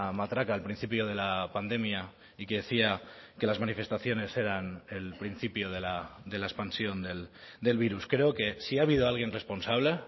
matraca al principio de la pandemia y que decía que las manifestaciones eran el principio de la expansión del virus creo que si ha habido alguien responsable